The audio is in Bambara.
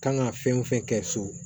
Kan ka fɛn o fɛn kɛ so